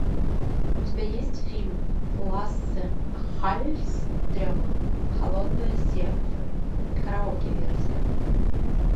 у тебя есть фильм лассе халльстрема холодное сердце караоке версия